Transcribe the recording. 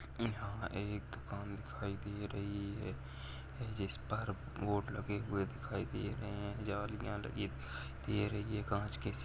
यहा एक दुकान दिखाई दे रही है जिसपर बोर्ड लगे हुए दिखाई दे रहे है जालियाँ लगी दिखाई दे रही है काँच के --